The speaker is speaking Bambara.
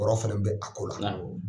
fana bɛ a ko la.